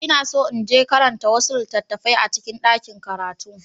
Ina so in je karanta wasu littattafai a cikin ɗakin karatu.